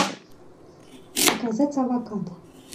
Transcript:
заказать авокадо